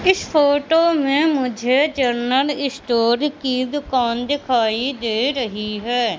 इस फोटो में मुझे जनरल स्टोर की दुकान दिखाई दे रही है।